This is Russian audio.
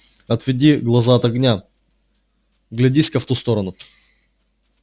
отведи глаза от огня вглядись ка в ту сторону